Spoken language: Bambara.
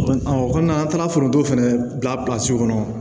O kɔnɔna an taara foronto fɛnɛ bilasiro kɔnɔ